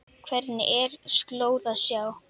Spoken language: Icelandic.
Hvergi er slóð að sjá.